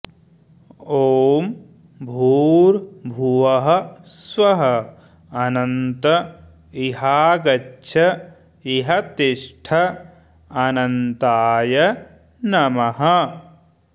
ॐ भूर्भुवः स्वः अनन्त इहागच्छ इह तिष्ठ अनन्ताय नमः